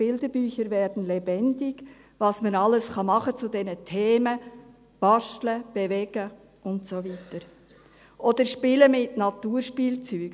Bilderbücher werden lebendig –, was man zu diesen Themen alles machen kann, basteln, bewegen und so weiter, oder spielen mit Naturspielzeug.